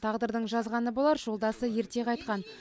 тағдырдың жазғаны болар жолдасы ерте қайтқан